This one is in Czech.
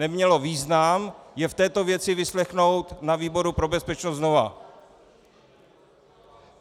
Nemělo význam je v této věci vyslechnout na výboru pro bezpečnost znova.